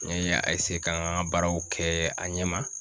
N ye a k'a n ka baaraw kɛ a ɲɛma